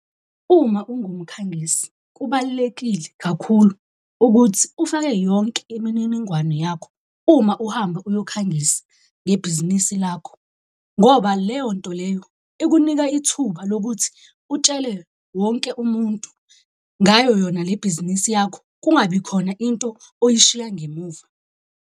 Uma ungumkhangisi kubalulekile kakhulu ukuthi ufake yonke imininingwane yakho uma uhambe uyokhangisa ngebhizinisi lakho. Ngoba leyo nto leyo ikunika ithuba lokuthi utshele wonke umuntu ngayo yona le bhizinisi yakho, kungabikhona into oyishiya ngemuva.